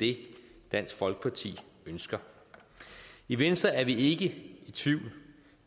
det dansk folkeparti ønsker i venstre er vi ikke i tvivl